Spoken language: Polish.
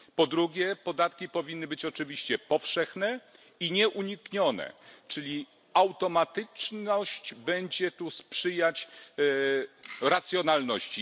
Po drugie, podatki powinny być oczywiście powszechne i nieuniknione, czyli automatyczność będzie tu sprzyjać racjonalności.